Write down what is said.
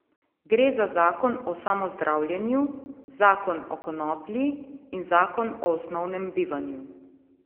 Gre za zakon o samozdravljenju, zakon o konoplji in zakon o osnovnem bivanju.